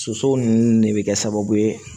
Soso nunnu de bɛ kɛ sababu ye